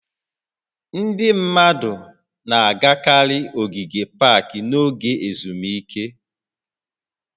Ndị mmadụ na-agakarị ogige pak n'oge ezumike